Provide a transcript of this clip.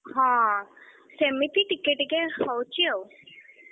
ହଁ ସେମିତି ଟିକେ ଟିକେ ହଉଛି ଆଉ